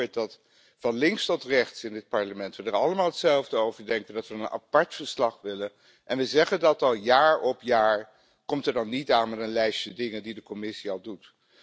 En als u hoort dat van Links tot Rechts in dit Parlement we er allemaal hetzelfde over denken, dat we een apart verslag willen, en we zeggen dat al jaar op jaar, kom dan niet aan met een lijstje dingen die de Commissie al doet.